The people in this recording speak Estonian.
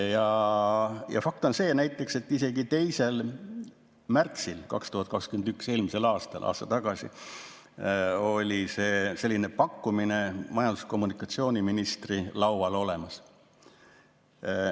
Aga fakt on see, et 2. märtsil 2021, eelmisel aastal, oli selline pakkumine majandus‑ ja kommunikatsiooniministri laual olemas.